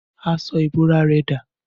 Aṣọ ìbora rẹ dà?